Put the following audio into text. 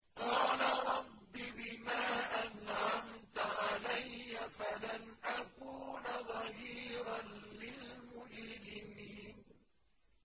قَالَ رَبِّ بِمَا أَنْعَمْتَ عَلَيَّ فَلَنْ أَكُونَ ظَهِيرًا لِّلْمُجْرِمِينَ